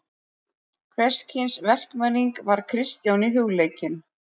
Hvers kyns verkmenning var Kristjáni hugleikin.